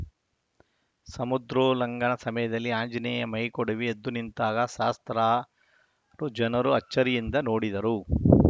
ಸಮುದ್ರೋಲ್ಲಂಘನ ಸಮಯದಲ್ಲಿ ಆಂಜನೇಯ ಮೈಕೊಡವಿ ಎದ್ದು ನಿಂತಾಗ ಸಹಸ್ರಾರು ಜನರು ಅಚ್ಚರಿಯಿಂದ ನೋಡಿದರು